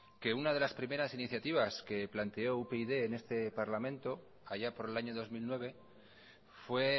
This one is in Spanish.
que una de las primeras iniciativas que planteó upyd en este parlamento allá por el año dos mil nueve fue